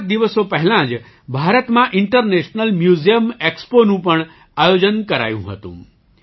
કેટલાક દિવસો પહેલાં જ ભારતમાં ઇન્ટરનેશનલ મ્યુઝિયમ એક્સપો નું પણ આયોજન કરાયું હતું